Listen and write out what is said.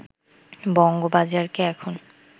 বঙ্গবাজারকে এখন